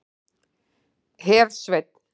Hersveinn